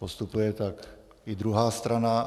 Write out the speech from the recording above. Postupuje tak i druhá strana.